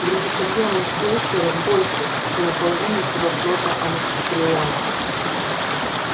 грузоподъёмность крейсера больше чем у половины всего флота анакреона